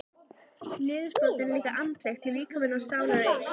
Niðurbrotið er líka andlegt því líkami og sál eru eitt.